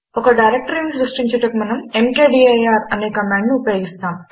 ఒక డైరెక్టరీని సృష్టించుటకు మనము ఎంకేడీఐఆర్ అనే కమాండును ఉపయోగిస్తాము